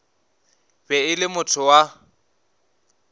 be e le motho wa